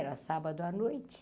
Era sábado à noite.